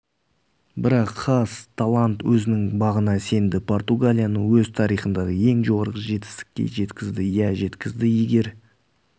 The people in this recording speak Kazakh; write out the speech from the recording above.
бірақ хас талант өзінің бағына сенді португалияны өз тарихындағы ең жоғары жетістікке жеткізді иә жеткізді егер